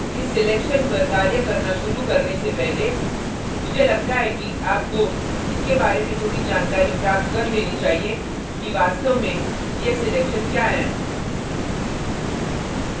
इस selection पर कार्य करना शुरू करने से पहले मुझे लगता है कि आपको इसके बारे में थोड़ी जानकारी प्राप्त कर लेनी चाहिए कि वास्तव में ये selection क्या हैं